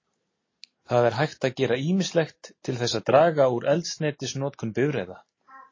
Það er hægt að gera ýmislegt til þess að draga úr eldsneytisnotkun bifreiða.